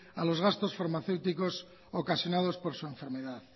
a los gastos farmacéuticos ocasionados por su enfermedad